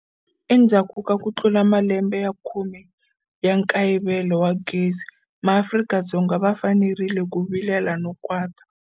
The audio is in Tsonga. Endzhaku ka ku tlula malembe ya khume ya nkayivelo wa gezi, MaAfrika-Dzonga va fanerile ku vilela no kwata.